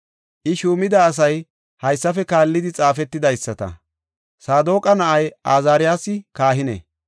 I shuumida asay haysafe kaallidi xaafetidaysata; Saadoqa na7ay Azaariyasi kahine;